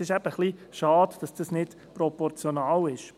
Es ist eben etwas schade, dass das nicht proportional ist.